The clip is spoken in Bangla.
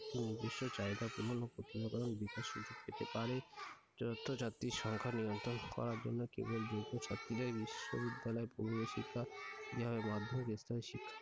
নিজস্ব চাহিদা পূরণ ও বিকাশের যুক্তিতে পারে যথা জাতির সংখ্যা নিয়ন্ত্রণ করার জন্য কেবল বিশ্ববিদ্যালয় পূর্ব শিক্ষা যেভাবে মাধ্যমিক স্তরের শিক্ষা,